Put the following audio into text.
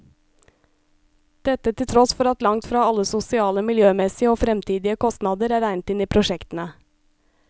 Dette til tross for at langt fra alle sosiale, miljømessige og fremtidige kostnader er regnet inn i prosjektene.